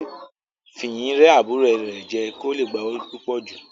Fìyìn rẹ́ àbúrò rẹ̀ jẹ kí ó le gba owó púpò jù.